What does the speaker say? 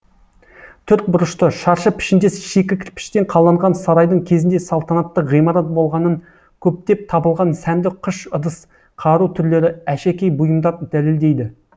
төртбұрышты шаршы пішіндес шикі кірпіштен қаланған сарайдың кезінде салтанатты ғимарат болғанын көптеп табылған сәнді қыш ыдыс қару түрлері әшекей бұйымдар дәлелдейді